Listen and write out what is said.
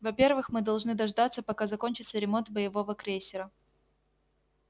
во-первых мы должны дождаться пока закончится ремонт боевого крейсера